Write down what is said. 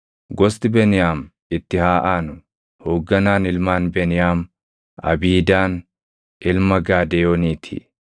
Gosti Beniyaam itti haa aanu. Hoogganaan ilmaan Beniyaam Abiidaan ilma Gaadeyoonii ti.